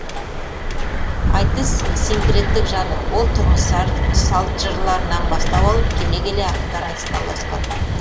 айтыс синкреттік жанр ол тұрмыс салт жырларынан бастау алып келе келе ақындар айтысына ұласқан